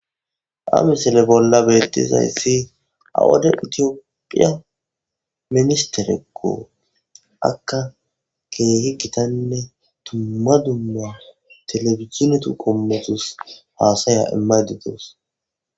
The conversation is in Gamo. Ha misile bolla beettizayssi awade itiyophiya ministerekkoo akka keehi gitanne tumma dumma telebizinetu qommotus faasaya imaydi doos.